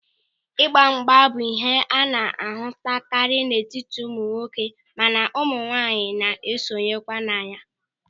Ịgbamgba bụ ịhe a na-ahụtakarị n'etiti ụmụnwoke mana ụmụnwaanyị na-esonye kwa na ya.